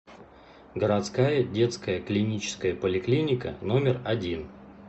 городская детская клиническая поликлиника номер один